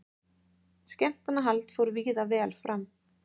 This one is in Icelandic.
Skemmtanahald fór víða vel fram